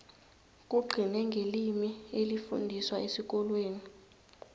kugcine ngelimi elifundiswa esikolweni